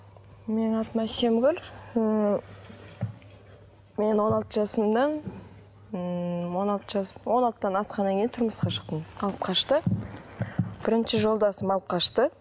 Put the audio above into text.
менің атым әсемгүл ммм мен он алты жасымда ммм он алты жас он алтыдан асқаннан кейін тұрмысқа шықтым алып қашты бірінші жолдасым алып қашты